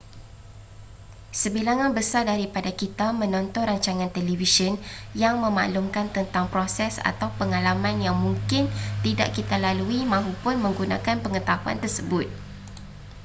sebilangan besar daripada kita menonton rancangan televisyen yang memaklumkan tentang proses atau pengalaman yang mungkin tidak kita lalui mahupun menggunakan pengetahuan tersebut